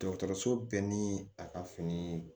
Dɔgɔtɔrɔso bɛɛ ni a ka fini